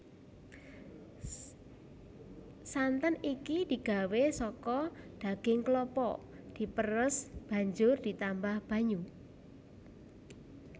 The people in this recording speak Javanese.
Santen iki digawé saka daging klapa diperes banjur ditambah banyu